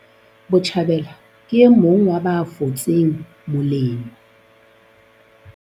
Botjhabela ke e mong wa ba fotseng molemo